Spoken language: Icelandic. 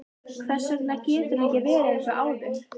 Hvers vegna getur hann ekki verið eins og áður?